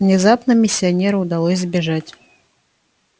внезапно миссионеру удалось сбежать